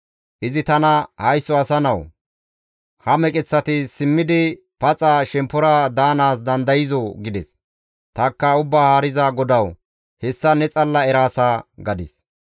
Izi tana, «Haysso asa nawu! Ha meqeththati simmidi shemppora paxa daanaas dandayzoo?» gides. Tanikka, «Ubbaa Haariza GODAWU, hessa ne xalla eraasa» gadis.